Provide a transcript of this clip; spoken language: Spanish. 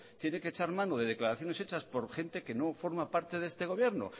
tiene que echar mano de declaraciones hechas por gente que no forma parte de este gobierno